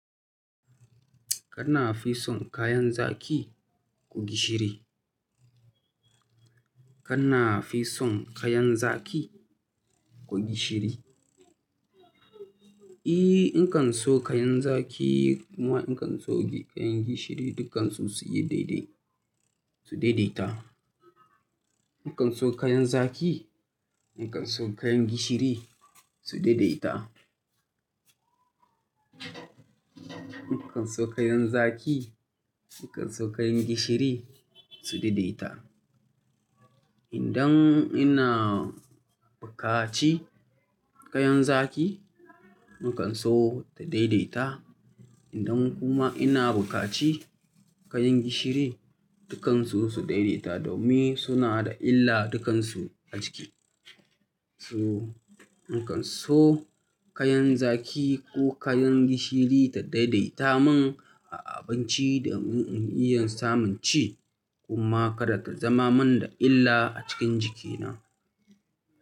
Kana fi son kayan zaki ko gishiri? Kana fi son kayan zaki ko gishiri? E, inkan so kayan zaki kuma nakan so kayan gishiri, dukkansu su yi daidai, su daidaita. Nakan so kayan zaki, nakan so kayan gishiri su daidaita. Nakan so kayan zaki, nakan so kayan gishiri su daidaita. Indan ina bukaci kayan zaki, nakan so ta daidaita. Indan kuma ina bukaci kayan gishiri, dukkansu su daidaita domin suna da illa dukkansu a jiki. Su, nakan so kayan zaki ko kayan gishiri ta daidaita min a abinci da mun iya samun ci kuma kada ta zama min da illa a cikin jikina.